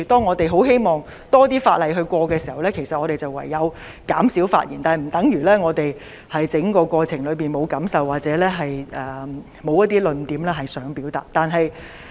我們希望能夠通過更多法案，唯有減少發言，但這並不等於我們在立法過程中沒有感受或沒有論點想表達。